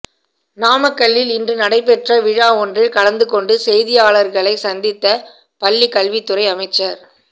நாமக்கல்லில் இன்று நடைபெற்ற விழா ஒன்றில் கலந்து கொண்டு செய்தியாளர்களைச் சந்தித்த பள்ளிக்கல்வித்துறை அமைச்சர்